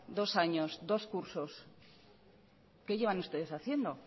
dos años dos cursos qué llevan ustedes haciendo